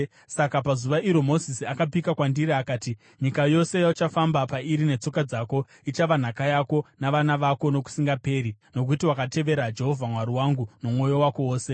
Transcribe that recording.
Saka pazuva iro Mozisi akapika kwandiri akati, ‘Nyika yose yauchafamba pairi netsoka dzako, ichava nhaka yako, navana vako nokusingaperi, nokuti wakatevera Jehovha Mwari wangu nomwoyo wako wose.’